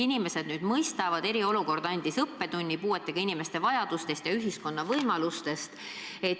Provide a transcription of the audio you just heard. Inimesed nüüd mõistavad, et eriolukord andis õppetunni puuetega inimeste vajadustest ja ühiskonna võimalustest.